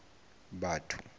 batho